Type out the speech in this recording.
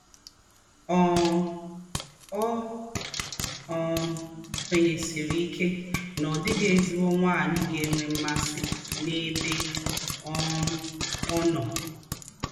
um Ó um kwènýèsìrì íké nà ọ́ dị́ghị̣ èzí̄gbọ̀ nwạ́nyị̀ gà-ènwẹ̀ màsì n’êbè um ọ́ nọ̀.